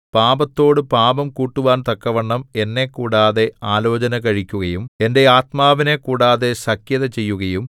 പാപത്തോടു പാപം കൂട്ടുവാൻ തക്കവണ്ണം എന്നെ കൂടാതെ ആലോചന കഴിക്കുകയും എന്റെ ആത്മാവിനെ കൂടാതെ സഖ്യത ചെയ്യുകയും